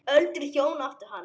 Öldruð hjón áttu hann.